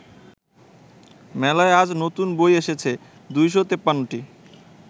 মেলায় আজ নতুন বই এসেছে ২৫৩টি